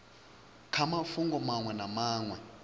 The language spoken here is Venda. kha mafhungo maṅwe na maṅwe